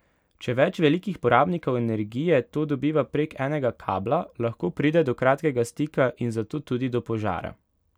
Če več velikih porabnikov energije to dobiva prek enega kabla, lahko pride do kratkega stika in zato tudi do požara.